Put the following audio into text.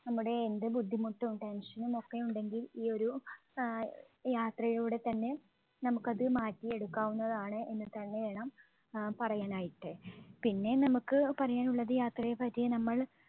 നമ്മുടെ എന്ത് ബുദ്ധിമുട്ടും tension നും ഒക്കെ ഉണ്ടെങ്കിൽ ഈ ഒരു ആഹ് യാത്രയിലൂടെത്തന്നെ നമുക്ക് അത് മാറ്റിയെടുക്കാവുന്നതാണ് എന്നുതന്നെ വേണം ആഹ് പറയാൻ ആയിട്ട്. പിന്നെ നമുക്ക് പറയാനുള്ളത് യാത്രയെപ്പറ്റി നമ്മൾ